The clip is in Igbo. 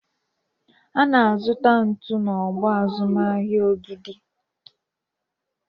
Ana azụta ntu na ọgbọ azụmahịa Ogidi